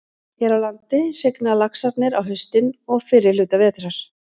Hér á landi hrygna laxarnir á haustin og fyrri hluta vetrar.